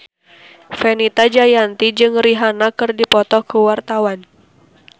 Fenita Jayanti jeung Rihanna keur dipoto ku wartawan